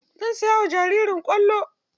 Zan saya wa jaririn kwallo.